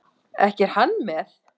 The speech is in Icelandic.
Ekki er hann með?